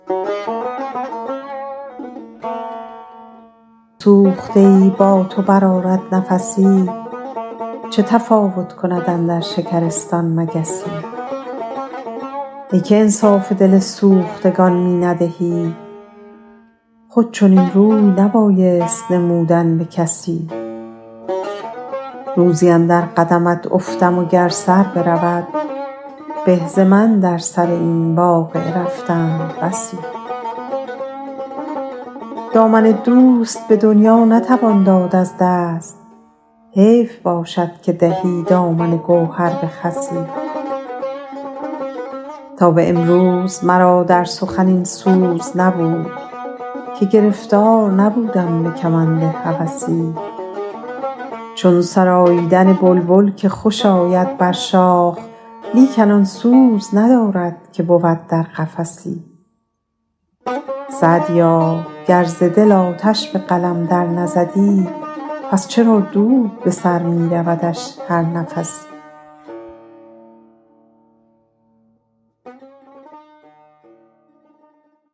گر درون سوخته ای با تو برآرد نفسی چه تفاوت کند اندر شکرستان مگسی ای که انصاف دل سوختگان می ندهی خود چنین روی نبایست نمودن به کسی روزی اندر قدمت افتم و گر سر برود به ز من در سر این واقعه رفتند بسی دامن دوست به دنیا نتوان داد از دست حیف باشد که دهی دامن گوهر به خسی تا به امروز مرا در سخن این سوز نبود که گرفتار نبودم به کمند هوسی چون سراییدن بلبل که خوش آید بر شاخ لیکن آن سوز ندارد که بود در قفسی سعدیا گر ز دل آتش به قلم در نزدی پس چرا دود به سر می رودش هر نفسی